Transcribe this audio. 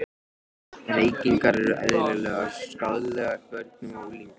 Reykingar eru eðlilegar skaðlegar börnum og unglingum.